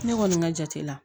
Ne kɔni ka jate la